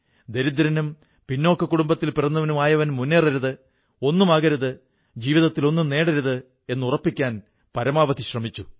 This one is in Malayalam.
ദരിദ്രനും പിന്നാക്ക കുടുംബത്തിൽ പിറന്നവനുമായവൻ മുന്നേറരുത് ഒന്നുമാകരുത് ജീവിതത്തിൽ ഒന്നും നേടരുത് എന്നുറപ്പിക്കാൻ പരമാവധി ശ്രമിച്ചു